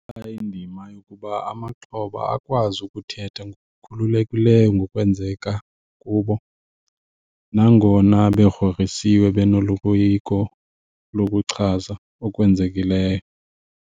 Indima yokuba amaxhoba akwazi ukuthetha ngokukhululekileyo ngokwenzeka kubo nangona begrogrisiwe benoloyiko lokuchaza okwenzekileyo.